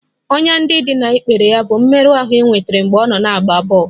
Ọnyá ndị dị n'ikpere ya bụ mmerụ ahụ e nwetara mgbe ọ na-agba bọl